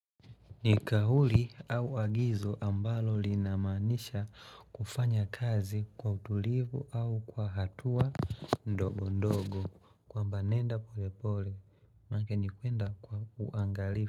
Ni kauli au agizo ambalo linamaanisha kufanya kazi kwa utulivu au kwa hatua ndogo ndogo kwamba nenda pole pole mkenikuenda kwa uangalifu.